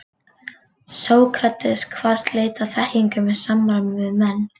Sókrates kvaðst leita að þekkingu með samræðum við menn.